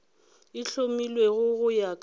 e hlomilwego go ya ka